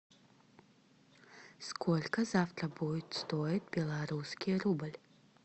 сколько завтра будет стоить белорусский рубль